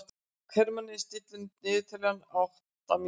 Hermína, stilltu niðurteljara á átta mínútur.